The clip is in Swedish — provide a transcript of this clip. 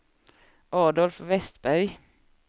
Adolf Westberg